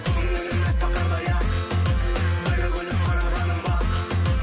көңілім әппақ қардай ақ бір күліп қарағаның бақ